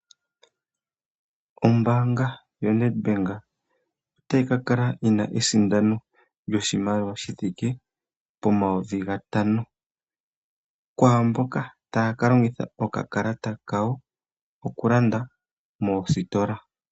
Ombaanga yo Needback ota yi kakala yina esindano ndjo shimaliwa shithike po mayovi gatano kwaa mboka taa kalongitha okakalata kawo okulanda moositola.